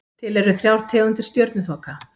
Til eru þrjár tegundir stjörnuþoka.